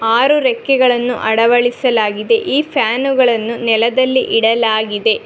ಆರು ರೆಕ್ಕೆಗಳನ್ನು ಅಳವಡಿಸಲಾಗಿದೆ ಈ ಫ್ಯಾನು ಗಳನ್ನು ನೆಲದಲ್ಲಿ ಇಡಲಾಗಿದೆ.